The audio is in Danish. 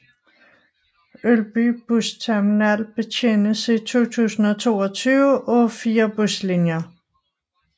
Ølby busterminal betjenes i 2022 af 4 buslinjer